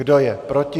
Kdo je proti?